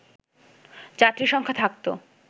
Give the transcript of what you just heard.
যাত্রী সংখ্যা থাকতো